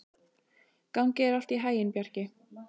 Gangi þér allt í haginn, Bjarki.